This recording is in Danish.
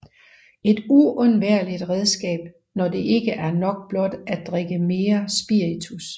Et uundværligt redskab når det ikke er nok blot at drikke mere spiritus